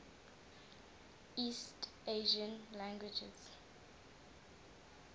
east asian languages